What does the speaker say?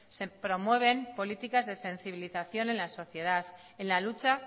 se promueven políticas de sensibilización en la sociedad en la lucha